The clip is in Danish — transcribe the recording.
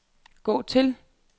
gå til